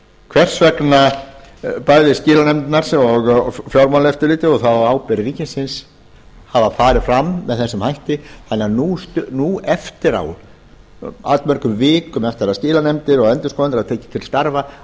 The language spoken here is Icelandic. hvers vegna bæði skilanefndirnar og fjármálaeftirlitið og það á ábyrgð ríkisins hafa farið fram með þessum hætti þannig að nú eftir á allmörgum vikum eftir að skilanefndir og endurskoðendur hafa tekið til starfa